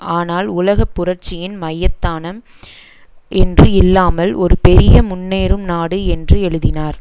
ஆனால் உலக புரட்சியின் மையத்தானம் என்று இல்லாமல் ஒரு பெரிய முன்னேறும் நாடு என்று எழுதினார்